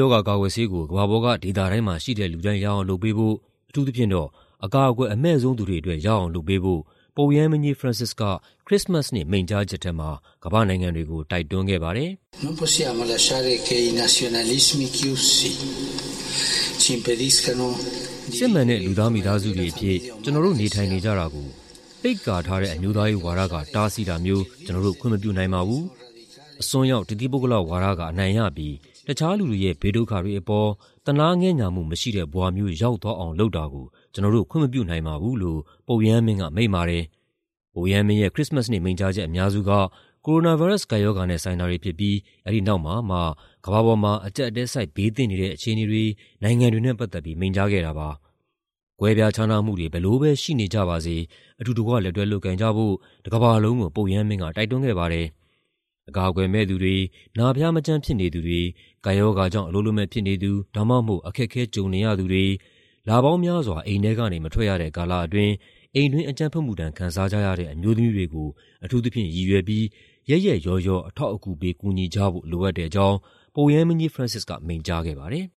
ရောဂါကာကွယ်ဆေးကို ကမ္ဘာပေါ်က ဒေသတိုင်းမှာရှိတဲ့ လူတိုင်း ရအောင်လုပ်ပေးဖို့၊ အထူးသဖြင့်တော့ အကာအကွယ်အမဲ့ဆုံး သူတွေအတွက် ရအောင်လုပ်ပေးဖို့ ပုပ်ရဟန်းမင်းကြီး Francis က ခရစ္စမတ်နေ့ မိန့်ကြားချက်ထဲမှာ ကမ္ဘာ့နိုင်ငံတွေကို တိုက်တွန်းခဲ့ပါတယ်။ "စစ်မှန်တဲ့ လူသားမိသားစုတွေအဖြစ် ကျနော်တို့ နေထိုင်ကြတာကို ပိတ်ကာထားတဲ့ အမျိုးသားရေးဝါဒက တားဆီးတာမျိုး ကျနော်တို့ ခွင့်မပြုနိုင်ပါဘူး။ အစွန်းရောက် တသီးပုဂ္ဂလဝါဒက အနိုင်ရပြီး တခြားလူတွေရဲ့ ဘေးဒုက္ခတွေအပေါ် သနားငဲ့ညှာမှုမရှိတဲ့ ဘဝမျိုး ရောက်သွားအောင် လုပ်တာကို ကျနော်တို့ ခွင့်မပြုနိုင်ပါဘူး" လို့ ပုပ်ရဟန်းမင်းက မိန့်ပါတယ်။ ပုပ်ရဟန်းမင်းရဲ့ ခရစ္စမတ်နေ့ မိန့်ကြားချက်အများစုက ကိုရိုနာဗိုင်းရပ်စ် ကပ်ရောဂါနဲ့ ဆိုင်တာတွေဖြစ်ပြီး အဲဒီနောက်မှာ ကမ္ဘာပေါ်မှာ အကျပ်အတည်းဆိုက် ဘေးသင့်နေတဲ့ အခြေအနေတွေ၊ နိုင်ငံတွေနဲ့ ပတ်သက်ပြီး မိန့်ကြားခဲ့တာပါ။ ကွဲပြားခြားနားမှုတွေ ဘယ်လိုပဲရှိနေကြပါစေ အတူတကွ လက်တွဲလုပ်ကိုင်ကြဖို့ တကမ္ဘာလုံးကို ပုပ်ရဟန်းမင်းက တိုက်တွန်းခဲ့ပါတယ်။ အကာအကွယ်မဲ့သူတွေ၊ နာဖျားမကျန်း ဖြစ်နေသူတွေ၊ ကပ်ရောဂါကြောင့် အလုပ်လက်မဲ့ဖြစ်နေသူ ဒါမှမဟုတ် အခက်အခဲ ကြုံနေရသူတွေ၊ လပေါင်းများစွာ အိမ်ထဲကနေ မထွက်ရတဲ့ ကာလအတွင်း အိမ်တွင်းအကြမ်းဖက်မှုဒဏ် ခံစားကြရတဲ့ အမျိုးသမီးတွေကို အထူးသဖြင့်ရည်ရွယ်ပြီး ရက်ရက်ရောရော အထောက်အကူပေး ကူညီကြဖို့ လိုအပ်တဲ့အကြောင်း ပုပ်ရဟန်းမင်းကြီး Francis က မိန့်ကြားခဲ့ပါတယ်။